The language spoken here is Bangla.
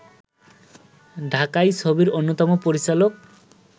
ঢাকাই ছবির অন্যতম পরিচালক